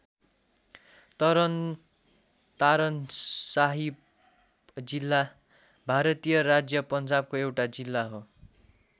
तरन तारन साहिब जिल्ला भारतीय राज्य पन्जाबको एउटा जिल्ला हो।